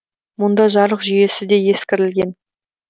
мұнда жарық жүйесі де ескірілген